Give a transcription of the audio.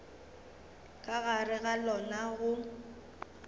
ka gare ga lona go